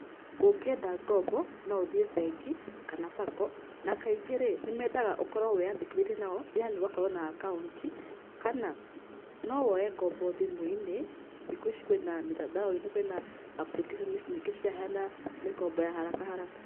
Ungĩenda ngombo nũ ũthĩe bengĩ kana sacco na kaĩngĩ rĩ nĩmendaga ũkorwo wĩyandĩkithĩtie nao yaani ũgakorwo na account kana no woye ngombo thĩmũiñi, thĩkũ ici kwĩna mĩtandaoinĩ kwĩna applications nyĩngĩ ciraheana mĩkombo ya haraka haraka.